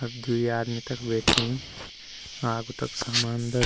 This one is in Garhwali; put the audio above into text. अब द्वि आदमी तख बैठीं आगु तक सामान ध --